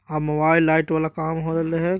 हां mobile light वाला काम होय रहले ये।